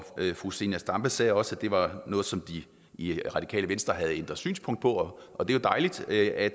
fru zenia stampe sagde også at det var noget som de i radikale venstre havde ændret synspunkt på og det er jo dejligt at